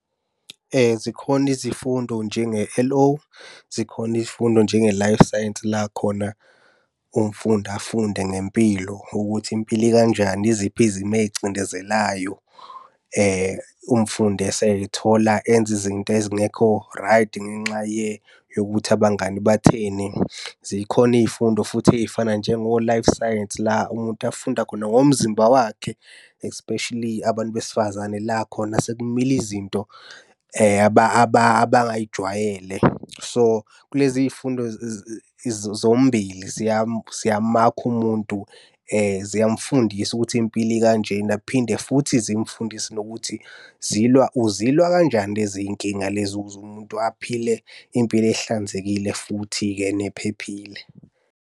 Zikhona izifundo njenge-L_O, zikhona izifundo njenge-Life Science, la khona umfundi afunde ngempilo ukuthi impilo ikanjani yiziphi izimo ey'ngcindezelayo. Umfundi esey'thola enza izinto ezingekho right ngenxa yokuthi abangani batheni. Zikhona iy'fundo futhi ey'fana njengo-Life Science la umuntu afunda khona ngomzimba wakhe, especially abantu besifazane la khona sekumila izinto abangay'jwayele. So, kule ziy'fundo zombili, siyamakha umuntu, ziyamufundisa ukuthi impilo ikanjena. Kuphinde futhi zimfundise nokuthi zilwa uzilwa kanjani lezi y'nkinga lezi ukuze umuntu aphile impilo ehlanzekile futhi-ke nephephile.